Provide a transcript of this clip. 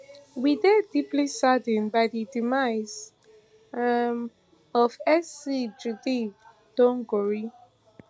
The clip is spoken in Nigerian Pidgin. we dey deeply saddened by di demise um of sc judy thongori